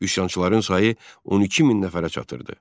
Üsyançıların sayı 12 min nəfərə çatırdı.